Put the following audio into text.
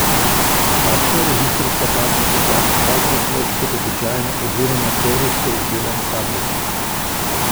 Takšna registrska tablica stane dvakrat več kot običajna oziroma serijsko izdelana tablica.